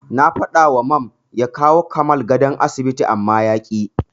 Na faɗawa Mam ya kawowa Kamal gadon asibiti amma yaƙi.